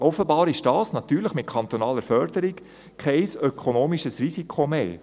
Offenbar ist dies – natürlich mit kantonaler Förderung – kein ökonomisches Risiko mehr.